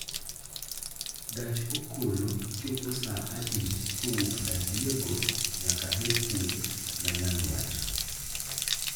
gach okolo chopo saa adi kowuok San Diego nyaka Hwood ma nyandwat